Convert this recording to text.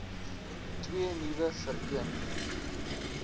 twee nuwe vereen